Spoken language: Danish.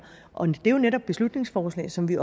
og det er jo netop beslutningsforslag som vi